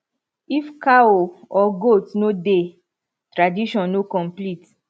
if cow or goat no dey tradition no complete